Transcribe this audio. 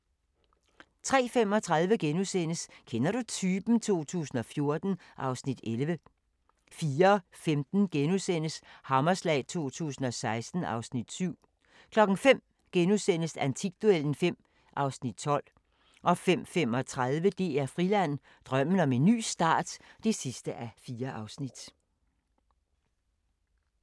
03:35: Kender du typen? 2014 (Afs. 11)* 04:15: Hammerslag 2016 (Afs. 7)* 05:00: Antikduellen (5:12)* 05:35: DR Friland: Drømmen om en ny start (4:4)